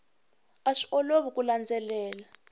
a swi olovi ku landzelela